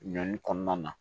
Ɲɔn kɔnɔna na